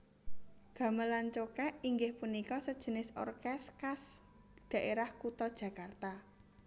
Gamelan cokek inggih punika sejenis orkes khas daerah kuta Jakarta